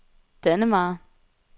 Dannemare